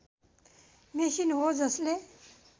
machine हो जसले